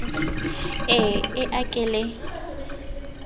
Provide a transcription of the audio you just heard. e e a ke le